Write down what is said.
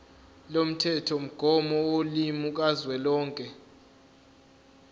lomthethomgomo wolimi kazwelonke